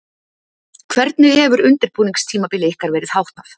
Hvernig hefur undirbúningstímabili ykkar verið háttað?